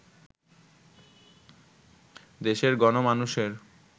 দেশের গণমানুষের